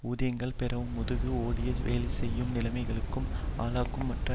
ஊதியங்களைப் பெறவும் முதுகு ஒடிய வேலைசெய்யும் நிலைமைகளுக்கும் ஆளாக்கும் மற்றும்